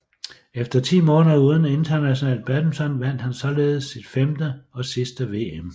Efter ti måneder uden international badminton vandt han således sit femte og sidste VM